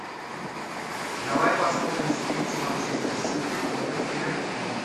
давай посмотрим встречу манчестер сити против ливерпуля